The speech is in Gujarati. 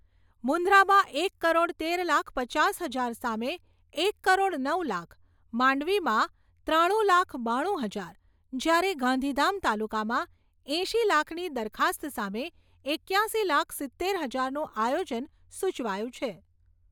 મુંદ્રામાં એક કરોડ તેર લાખ પચાસ હજાર સામે એક કરોડ નવ લાખ. માંડવીમાં ત્રાણું લાખ બાણું હજાર, જ્યારે ગાંધીધામ તાલુકામાં એંશી લાખની દરખાસ્ત સામે એક્યાશી લાખ સિત્તેર હજારનું આયોજન સૂચવાયું છે.